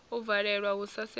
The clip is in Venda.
u valelwa hu sa sedzi